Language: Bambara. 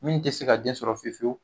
Min tɛ se ka den sɔrɔ fewu fewu